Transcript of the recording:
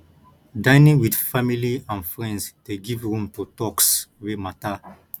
dining with family or friends de give room to talks wey matter